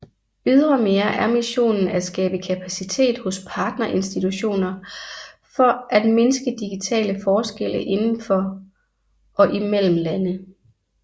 Ydremere er missionen at skabe kapacitet hos partner institutioner for at mindske digitale forskelle indendfor og imellem lande